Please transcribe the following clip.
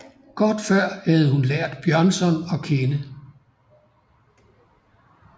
Kort før havde hun lært Bjørnson at kende